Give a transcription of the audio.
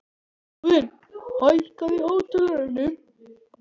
Óðinn, hækkaðu í hátalaranum.